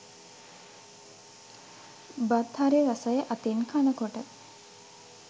බත් හරි රසයි අතින් කනකොට.